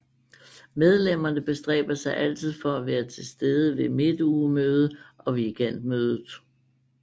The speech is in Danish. Medlemmerne bestræber sig altid for at være til stede ved Midtugemøde og Weekendmødet